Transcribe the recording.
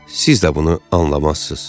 Siz də bunu anlamazsınız.